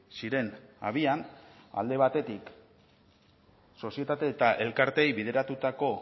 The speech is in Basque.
ziren abian alde batetik sozietate eta elkarteei bideratutako